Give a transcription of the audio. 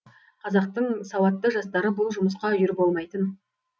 қазақтың сауатты жастары бұл жұмысқа үйір болмайтын